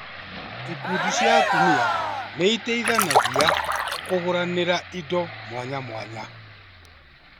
Ikundi cia atumia nĩiteithanagia kũgũranĩra indo mwanya mwanya